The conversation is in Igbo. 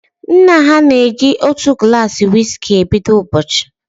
Nna ha na eji otu gulasi wiski e bido ụbọchị